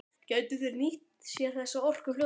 Gætu þeir nýtt sér þessa orku fljótlega?